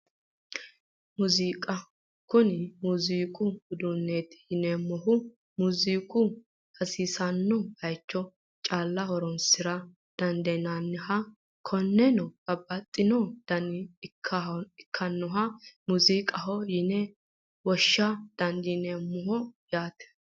Muuziiqa kuni muuziiqu uduunneeti yineemmohu muuziiqu hasiisanno baycho calla horonsira dandiinanniha konne babbaxxino daniha ikkinoha muuziiqaho yine woshsha dandiineemmo yaate